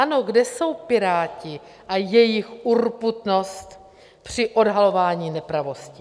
Ano, kde jsou Piráti a jejich urputnost při odhalování nepravostí?